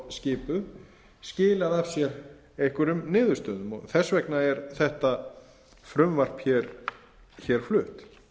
skipuð skilað af sér einhverjum niðurstöðum og þess vegna er þetta frumvarp flutt